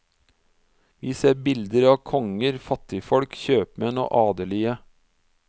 Vi ser bilder av konger, fattigfolk, kjøpmenn og adelige.